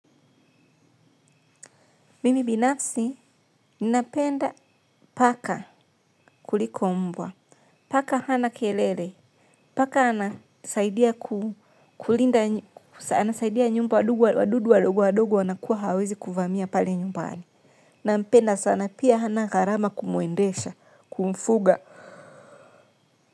Mimi binafsi, ninapenda paka kuliko mbwa, paka hana kelele, paka anasaidia kulinda, anasaidia nyumba wadudu wadogo wanakuwa hawaezi kuvamia pale nyumbani. Nampenda sana pia hana gharama kumuendesha, kumfuga.